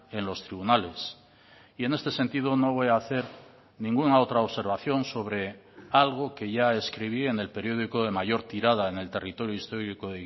en los tribunales y en este sentido no voy a hacer ninguna otra observación sobre algo que ya escribí en el periódico de mayor tirada en el territorio histórico